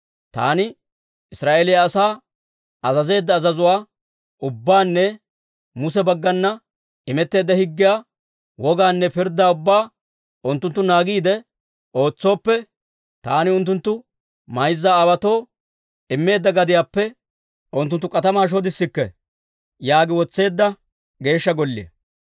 Taani Israa'eeliyaa asaa azazeedda azazuwaa ubbaanne Muse baggana imetteedda higgiyaa, wogaanne pirddaa ubbaa unttunttu naagiide ootsooppe, taani unttunttu mayza aawaatoo immeedda gadiyaappe unttunttu k'atamaa shodissikke» yaagi wotseedda Geeshsha Golliyaa.